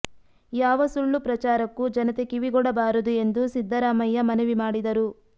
ಯಾವ ಸುಳ್ಳು ಪ್ರಚಾರಕ್ಕೂ ಜನತೆ ಕಿವಿಗೊಡಬಾರದು ಎಂದು ಸಿದ್ದರಾಮಯ್ಯ ಮನವಿ ಮಾಡಿದರು